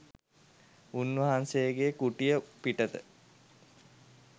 උන්වහන්සේගේ කුටිය පිටත